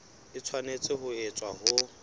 e tshwanetse ho etswa ho